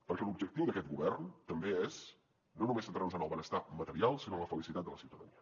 perquè l’objectiu d’aquest govern també és no només centrar nos en el benestar material sinó en la felicitat de la ciutadania